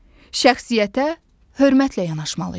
Şəxsiyyətə hörmətlə yanaşmalıyıq.